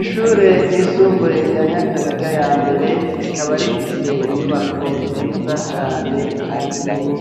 Ishure ryisumbuye rya Nyakabiga ya mbere rikaba rifise inyubako nziza cane kandi nini